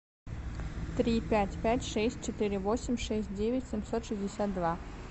три пять пять шесть четыре восемь шесть девять семьсот шестьдесят два